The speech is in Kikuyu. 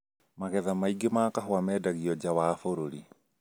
Magetha maingĩ ma kahũa mendagio nja wa bũrũri